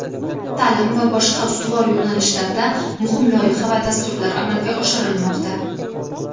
ta’lim va boshqa ustuvor yo‘nalishlarda muhim loyiha va dasturlar amalga oshirilmoqda.